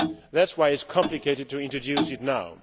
That is why it is complicated to introduce it now.